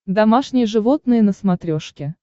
домашние животные на смотрешке